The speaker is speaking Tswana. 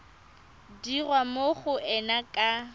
dirwa mo go ena ka